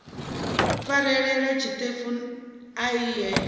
farelela tshiṱefu ea i he